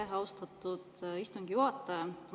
Aitäh, austatud istungi juhataja!